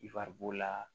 I wari b'o la